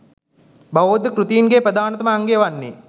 බෞද්ධ කෘතීන්ගේ ප්‍රධානම අංගය වන්නේ